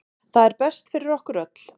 Það er best fyrir okkur öll.